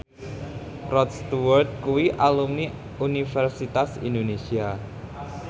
Rod Stewart kuwi alumni Universitas Indonesia